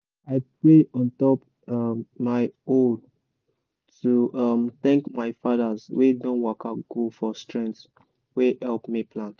i pray on top um my hoe to um thank my fathers wey don waka go for strength wey help me plant.